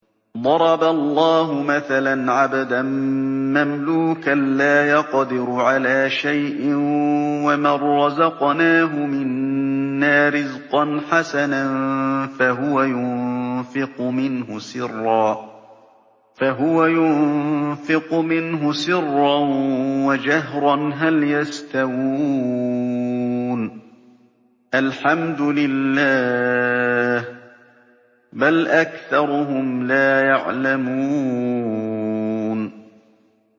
۞ ضَرَبَ اللَّهُ مَثَلًا عَبْدًا مَّمْلُوكًا لَّا يَقْدِرُ عَلَىٰ شَيْءٍ وَمَن رَّزَقْنَاهُ مِنَّا رِزْقًا حَسَنًا فَهُوَ يُنفِقُ مِنْهُ سِرًّا وَجَهْرًا ۖ هَلْ يَسْتَوُونَ ۚ الْحَمْدُ لِلَّهِ ۚ بَلْ أَكْثَرُهُمْ لَا يَعْلَمُونَ